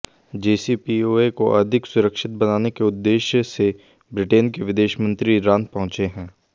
JCPOA को अधिक सुरक्षित बनाने के उद्देश्य से ब्रिटेन के विदेशमंत्री ईरान पहुंचे हैं